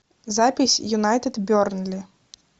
запись юнайтед бернли